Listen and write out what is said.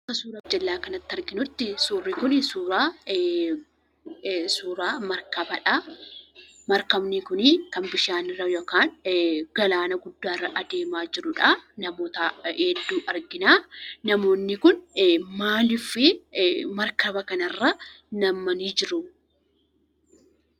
Akka nuti gara jala kanaatti arginutti suuraa markabaadha. Markabni kun kan bishaanirra yookaan galaana guddaarra adeemaa jirudha namoota hedduu argina. Namoonni kun maaliif markaba kanarra nam'anii jiru?